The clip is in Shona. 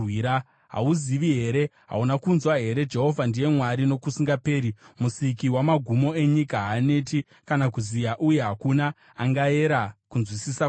Hauzivi here? Hauna kunzwa here? Jehovha ndiye Mwari nokusingaperi, Musiki wamagumo enyika. Haaneti kana kuziya, uye hakuna angayera kunzwisisa kwake.